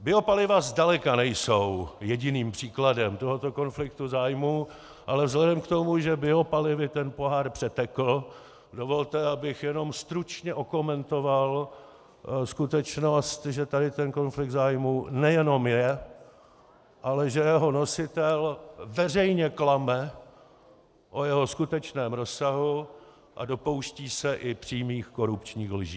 Biopaliva zdaleka nejsou jediným příkladem tohoto konfliktu zájmů, ale vzhledem k tomu, že biopalivy ten pohár přetekl, dovolte, abych jenom stručně okomentoval skutečnost, že tady ten konflikt zájmů nejenom je, ale že jeho nositel veřejně klame o jeho skutečném rozsahu a dopouští se i přímých korupčních lží.